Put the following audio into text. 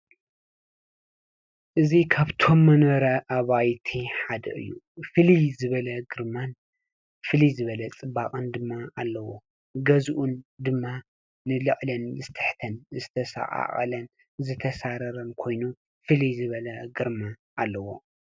እዚ ካብቶም መንበረ አባይቲ ሓደ እዩ ። ፍልይ ዝበለ ግርማን ፍልይ ዝበለ ፅባቀን ድማ አለዎ። ገዝኡ ድማ ንላዕልን ንታሕትን ዝተሰቃቀለን ዝተሳረረን ኮይኑ ፍልይ ዝበለ ግርማ አለዎ።